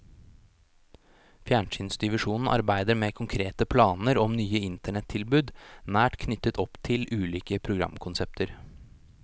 Fjernsynsdivisjonen arbeider med konkrete planar om nye internettilbod nært knytt opp til ulike programkonsept.